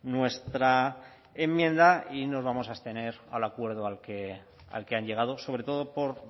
nuestra enmienda y nos vamos a abstener al acuerdo al que han llegado sobre todo por